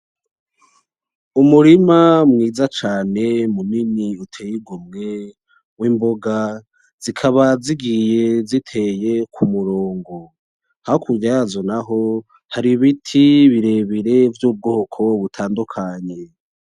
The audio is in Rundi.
Umurima mwiza cane uteye igomwe w'imboga zikaba zigiye ziteye kumurongo, hakurya yazo naho hari ibiti birebire vyubwoko butandukanye.